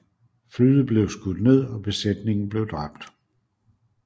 Flyet blev skudt ned og besætningen blev dræbt